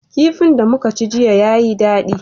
Kifin da muka ci jiya yayi daɗi.